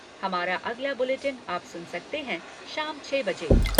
हमारा अगला बुलेटिन आप सुन सकते हैं शाम छः बजे।